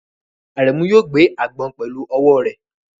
Aremu yóò gbé agbọ̀n pẹ̀lú ọwọ́ rẹ̀.